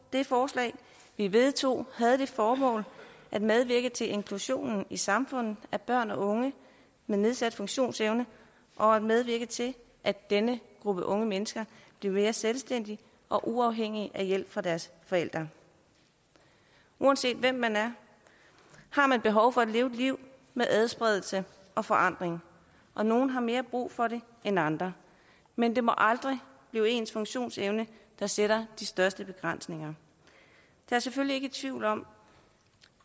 det forslag vi vedtog havde det formål at medvirke til inklusionen i samfundet af børn og unge med nedsat funktionsevne og at medvirke til at denne gruppe unge mennesker bliver mere selvstændige og uafhængige af hjælp fra deres forældre uanset hvem man er har man behov for at leve et liv med adspredelse og forandring og nogle har mere brug for det end andre men det må aldrig blive ens funktionsevne der sætter de største begrænsninger der er selvfølgelig ikke tvivl om